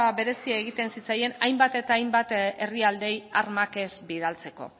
berezia egiten zitzaien hainbat eta hainbat herrialdeei armak ez bidaltzeko